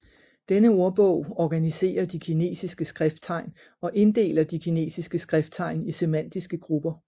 Denne ordbog organiserer de kinesiske skrifttegn og inddeler de kinesiske skrifttegn i semantiske grupper